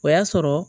O y'a sɔrɔ